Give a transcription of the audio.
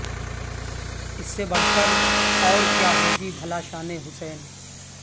اس سے بڑھ کر اور کیا ہو گی بھلا شان حسین